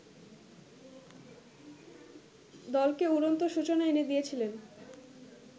দলকে উড়ন্ত সূচনা এনে দিয়েছিলেন